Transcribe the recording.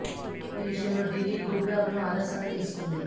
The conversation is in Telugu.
ఈ విషయంలో ఢిల్లీ గుర్ గావ్ ను ఆదర్శంగా తీసుకుంది